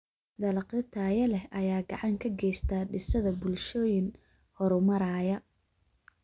Dalagyo tayo leh ayaa gacan ka geysta dhisidda bulshooyin horumaraya.